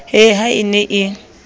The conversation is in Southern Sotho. he ha e ne e